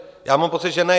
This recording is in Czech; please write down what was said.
Já mám pocit, že ne.